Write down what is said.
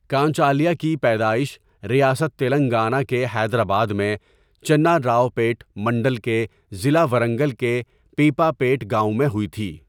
کانچا الیہ کی پیدائش ریاست تلنگانہ کے حیدرآباد میں چناراؤپیٹ منڈل کے ضلع ورنگل کے پپیا پیٹ گاؤں میں ہوئی تھی۔